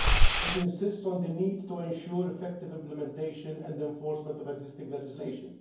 It insists on the need to ensure effective implementation and enforcement of existing legislation.